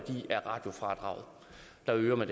jeg vil